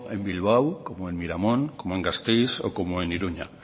en bilbao como en miramon como gasteiz o como en iruña